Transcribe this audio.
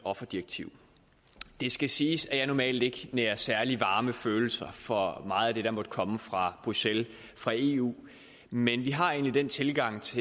offerdirektiv det skal siges at jeg normalt ikke nærer særlig varme følelser for meget af det der måtte komme fra bruxelles fra eu men vi har egentlig den tilgang til